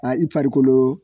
A i farikolo